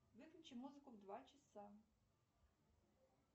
выключи музыку в два часа